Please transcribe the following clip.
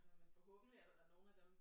Altså men forhåbentlig er der da nogen af dem